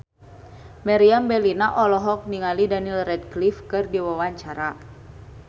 Meriam Bellina olohok ningali Daniel Radcliffe keur diwawancara